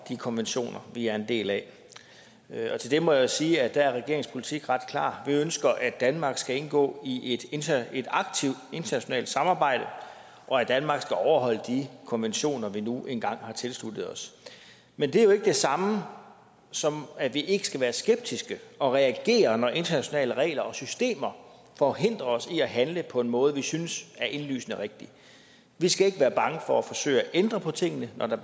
de konventioner vi er en del af og til det må jeg jo sige at der er regeringens politik ret klar vi ønsker at danmark skal indgå i et aktivt internationalt samarbejde og at danmark skal overholde de konventioner vi nu engang har tilsluttet os men det er jo ikke det samme som at vi ikke skal være skeptiske og reagere når internationale regler og systemer forhindrer os i at handle på en måde vi synes er indlysende rigtig vi skal ikke være bange for at forsøge at ændre på tingene når der